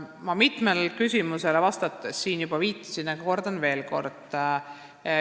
Ma mitmele küsimusele vastates juba sellele viitasin, aga kordan veel.